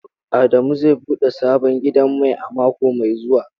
Adamu zai bude sabon gidan mai a mako mai zuwa.